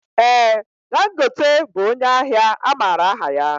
Ee Dangote bụ ónyé ahịa amaara aha ya.